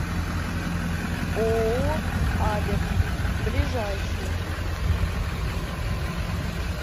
ооо аверс ближайший